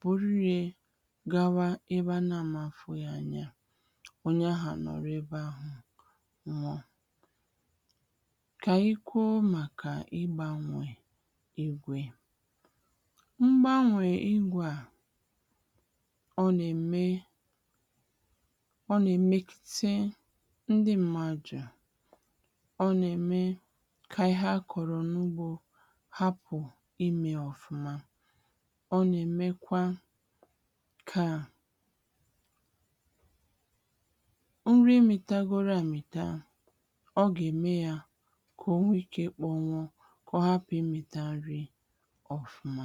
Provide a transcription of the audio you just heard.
buru rė gawa ịbȧ na-amȧfu yȧ anya, ọ̀nyẹ ahụ̀ a nọ̀rọ ebe ahụ̀ nwuo. Kà ànyị kwụọ màkà ịgbȧnwe ígwè. Mgbànwè igwe à ọ nà-ème ọ nà-èmekite ndị m̀màjụ̀, ọ nà-ème kà ihe akọ̀rọ̀ n’ugbȯ hapụ̀ imė ọ̀fụma, ọ nà-èmekwa ka. Nri mita goro amita a, ọ gà-ème ya kà o nwee ike kpọ̀nwụ ka ọ hapụ ịmị̀ta nri ọfuma.